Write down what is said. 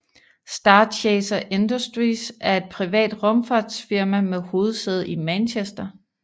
Starchaser Industries er et privat rumfartsfirma med hovedsæde i Manchester